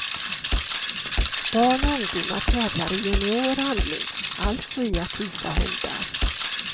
Barn och ungdomar tävlar i junior handling, alltså i att visa hundar.